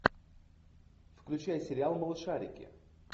включай сериал малышарики